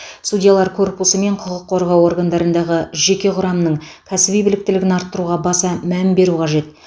судьялар корпусы мен құқық қорғау органдарындағы жеке құрамның кәсіби біліктілігін арттыруға баса мән беру қажет